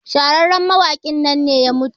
shahararren mawakin nan ne ya mutu